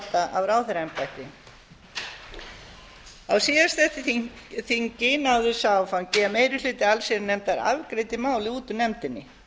láta af ráðherraembætti á síðasta þingi náðist sá áfangi að meiri hluti allsherjarnefndar afgreiddi málið út úr nefndinni